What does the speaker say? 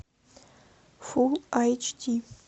фул эйч ди